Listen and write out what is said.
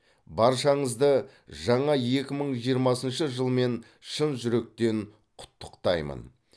баршаңызды жаңа екі мың жиырмасыншы жылмен шын жүректен құттықтаймын